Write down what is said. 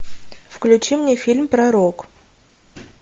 включи мне фильм пророк